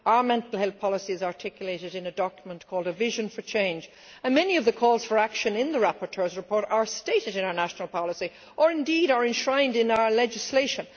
Our mental health policy is articulated in a document called A Vision for Change and many of the calls for action in the rapporteur's report are stated in our national policy or, indeed, are enshrined in our legislation.